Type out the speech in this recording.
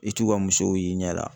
I t'u ka musow y'i ɲɛ la.